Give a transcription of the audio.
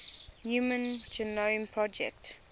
human genome project